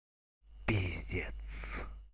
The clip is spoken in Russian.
пиздец